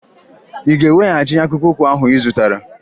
Ị ga-eweghachi akpụkpọụkwụ ahụ ị zụtara!